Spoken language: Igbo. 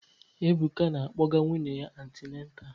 Ebuka na-akpọga nwunye ya antineta